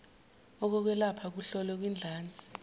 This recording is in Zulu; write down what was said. okokwelapha kuhlolwe kwidlanzi